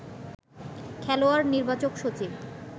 খেলোয়াড় নির্বাচক সচিব